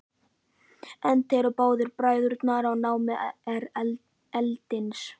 Enda eru báðir bræðurnir í námi erlendis.